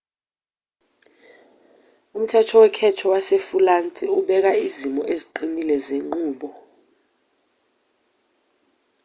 umthetho wokhetho wasefulansi ubeka izimiso eziqinile zenqubo